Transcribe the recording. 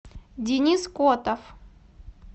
денис котов